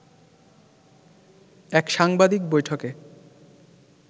এক সাংবাদিক বৈঠকে